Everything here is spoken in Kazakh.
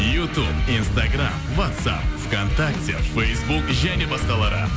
ютуб инстаграмм уатсап в контакте фейсбук және басқалары